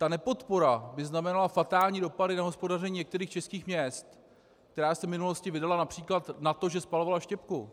Ta nepodpora by znamenala fatální dopady na hospodaření některých českých měst, která se v minulosti vydala například na to, že spalovala štěpku.